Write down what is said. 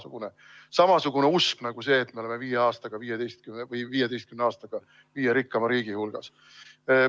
See on samasugune usk nagu see, et me oleme 15 aastaga viie rikkaima riigi hulgas.